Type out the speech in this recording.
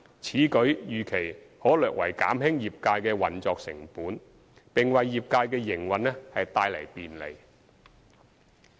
此舉預期可略為減輕業界的運作成本，並為業界的營運帶來便利。